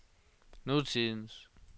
nutidens